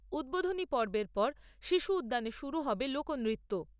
উদ্বোধনী পর্বের পর শিশু উদ্যানে শুরু হবে লোকনৃত্য।